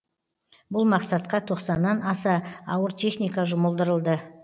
бұл мақсатқа тоқсаннан аса ауыр техника жұмылдырылды